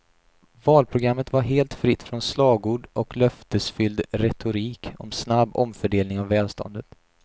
Valprogrammet var helt fritt från slagord och löftesfylld retorik om snabb omfördelning av välståndet.